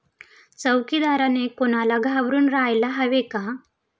चौकीदाराने कोणाला घाबरून राहायला हवे का?